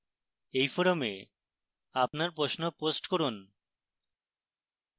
এই forum আপনার প্রশ্ন post করুন